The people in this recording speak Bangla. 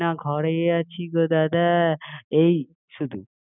না ঘরেই আছি গো দাদা এই শুধু